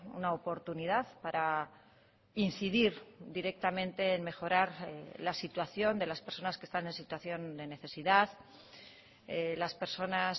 una oportunidad para incidir directamente en mejorar la situación de las personas que están en situación de necesidad las personas